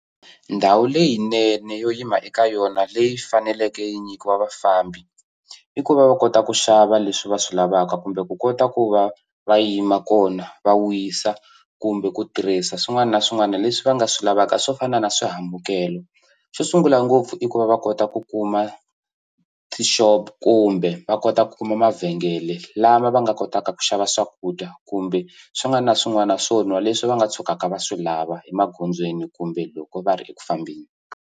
Ndhawu leyinene yo yima eka yona leyi faneleke yi nyikiwa vafambi i ku va va kota ku xava leswi va swi lavaka kumbe ku kota ku va va yima kona va wisa kumbe ku tirhisa swin'wana na swin'wana leswi va nga swi lavaka swo fana na swihambukelo xo sungula ngopfu i ku va va kota ku kuma tishopo kumbe va kota ku kuma mavhengele lama va nga kotaka ku xava swakudya kumbe swin'wana na swin'wana swo nwa leswi va nga tshukaka va swi lava emagondzweni kumbe loko va ri eku fambeni.